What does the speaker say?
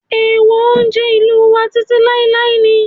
Èèwọ̀ oúnjẹ ìlú wa títí láíláí ni